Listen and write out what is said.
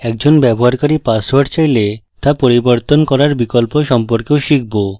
একজন ব্যবহারকারী পাসওয়ার্ড চাইলে তা পরিবর্তন করার বিকল্প সম্পর্কেও শিখব